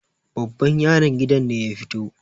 babban yaron gidan ne ya fito